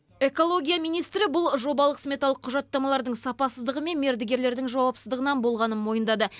экология министрі бұл жобалық сметалық құжаттамалардың сапасыздығы мен мердігерлердің жауапсыздығынан болғанын мойындады